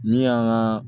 Min y'an ka